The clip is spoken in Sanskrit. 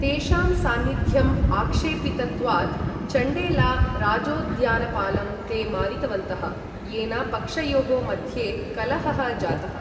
तेषां सान्निध्यं आक्षेपितत्वात्, चण्डेला राजोद्यानपालं ते मारितवन्तः, येन पक्षयोः मध्ये कलहः जातः।